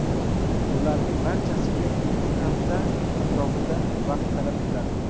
Bularning barchasiga ikki hafta atrofida vaqt talab etiladi.